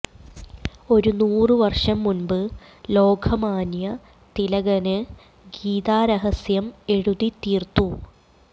ഒരു നൂറ് വര്ഷം മുന്പ് ലോകമാന്യ തിലകന് ഗീതാരഹസ്യം എഴുതിത്തീര്ത്തു